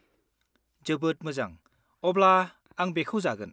जोबोद मोजां, अब्ला आं बेखौ जागोन।